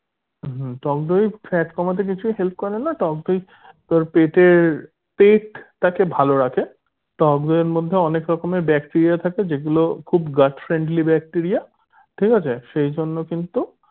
হুম টক দই fat কমাতে কিছু help করে না টক দই তোর পেটের পেটটাকে ভালো রাখে টক দইয়ের মধ্যে অনেক রকমের bacteria থাকে যেগুলো খুব gutt friendly bacteria ঠিক আছে সেই জন্য কিন্তু